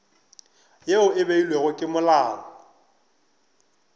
ye e beilwego ke molao